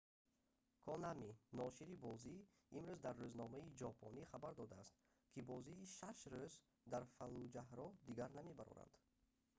конами ношири бозӣ имрӯз дар рӯзномаи ҷопонӣ хабар додааст ки бозии шаш рӯз дар фаллуҷаҳро дигар намебароранд